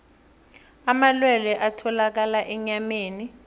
amalwelwe atholakala enyameni